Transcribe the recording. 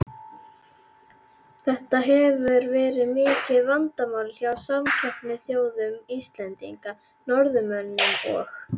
Þetta hefur verið mikið vandamál hjá samkeppnisþjóðum Íslendinga, Norðmönnum og